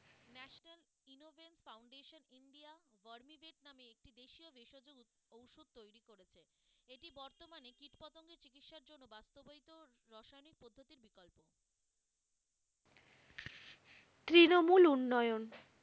তৃনমুল উন্নয়ন,